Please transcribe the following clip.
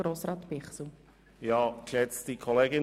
Kommissionspräsident der FiKo.